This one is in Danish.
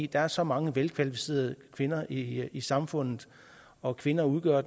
der er så mange velkvalificerede kvinder i i samfundet og kvinder udgør